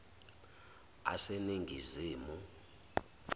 aseningizimu